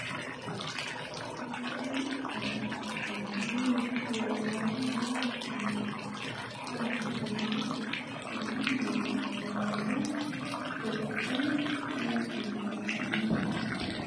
Ketiii ntiimi nabaya naapishana natijing'a eliman aing'oru Nkoti lentim e Kibini.